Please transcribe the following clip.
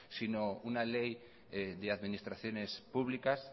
sino una ley de administraciones públicas